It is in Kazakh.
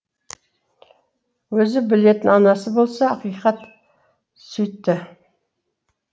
өзі білетін анасы болса ақиқат сүйтті